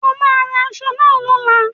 O máa ran aṣọ náà lóla